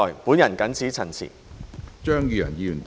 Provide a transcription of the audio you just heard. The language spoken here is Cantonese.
本人謹此陳辭。